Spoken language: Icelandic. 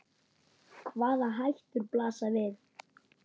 Hvaða hættur blasa við?